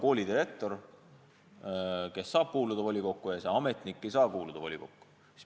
Koolidirektor saab kuuluda volikokku, aga ametnik ei saa sinna kuuluda.